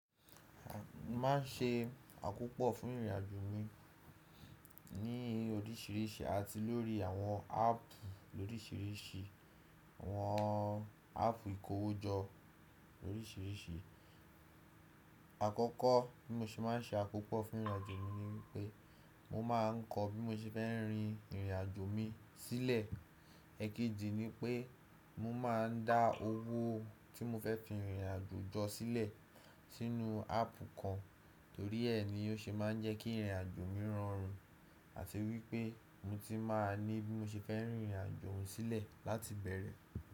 A má n ṣe àkópọ̀ fún ìrìnàjò mi ní oríṣìíríṣìí àti lórí àwọn áàpù oríṣìíríṣìí, àwọn áàpù ìkówójọ oríṣìíríṣìí. Àkọ́kọ́ bí mo se má n ṣe àkópọ̀ fún ìrìnàjò mi ni pé mo má n kọ bí mo se fẹ́ rin ìrìnàjò mi sílẹ̀. Èekejì ni pé mo má n dá owó tí mo fẹ́ fi ìrìnàjò jọ sílẹ̀ sínú áàpù kan torí ẹ ni ó ṣe má n jẹ́ kí ìrìnàjò mi rọrùn àti wípé mo ti má a ní bí mo se fẹ́ rìn ìrìnàjò mi sílẹ̀ láti ibẹ̀rẹ̀